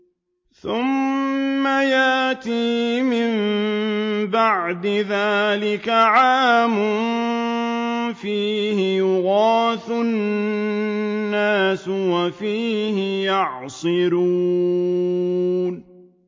ثُمَّ يَأْتِي مِن بَعْدِ ذَٰلِكَ عَامٌ فِيهِ يُغَاثُ النَّاسُ وَفِيهِ يَعْصِرُونَ